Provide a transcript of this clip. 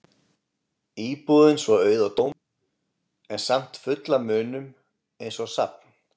Íbúðin svo auð og tóm en samt full af munum eins og safn.